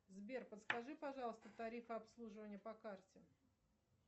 сбер подскажи пожалуйста тарифы обслуживания по карте